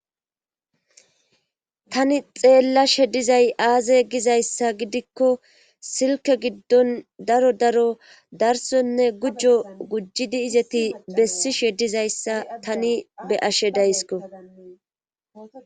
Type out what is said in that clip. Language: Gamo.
Tani xeella shedizay aaze gizayssa gidikko silke giddon daro daro darsonne gujjo gujjidi izeti bessi shedizayssa tani be ashe daysko